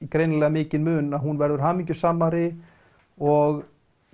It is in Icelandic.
greinilega mikinn mun að hún verður hamingjusamari og